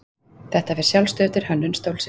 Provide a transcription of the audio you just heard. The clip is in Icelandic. þetta fer að sjálfsögðu eftir hönnun stólsins